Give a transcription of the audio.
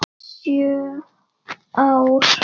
Sjö ár?